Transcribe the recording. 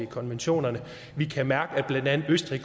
konventionerne vi kan mærke at blandt andet østrig